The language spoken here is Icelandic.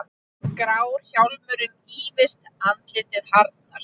Grár hjálmurinn ýfist, andlitið harðnar.